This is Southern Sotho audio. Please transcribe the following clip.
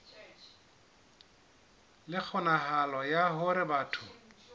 le kgonahalo ya hore batho